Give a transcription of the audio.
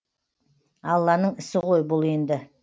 алланың ісі ғой бұл енді